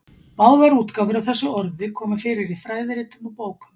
Báðar útgáfur af þessu orði koma fyrir í fræðiritum og bókum.